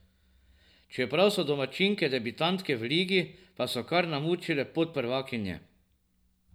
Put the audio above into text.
Čeprav so domačinke debitantke v ligi, pa so kar namučile podprvakinje.